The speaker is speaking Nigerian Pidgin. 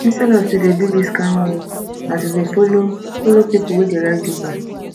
instead of to dey do dis kind work na to follow follow pipu wey dey ride uber